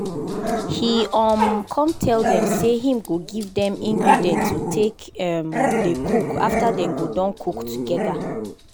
he um come tell dem say him go give dem ingredient to take um dey cook after dem go don cook together